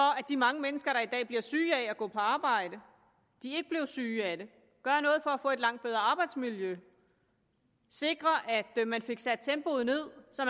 de mange mennesker der i dag bliver syge af at gå på arbejde ikke blev syge af det gøre noget at få et langt bedre arbejdsmiljø sikre at man fik sat tempoet ned så